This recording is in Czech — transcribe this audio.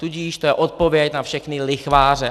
Tudíž to je odpověď na všechny lichváře.